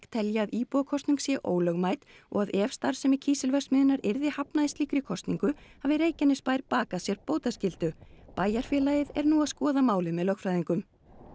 telji að íbúakosning sé ólögmæt og að ef starfsemi kísilverksmiðjunnar yrði hafnað í slíkri kosningu hafi Reykjanesbær bakað sér bótaskyldu bæjarfélagið er nú að skoða málið með lögfræðingum